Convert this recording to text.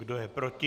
Kdo je proti?